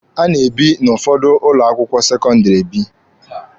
A na-ebe n'ụfọdụ ụlọ akwụkwọ sekọndịrị ebi.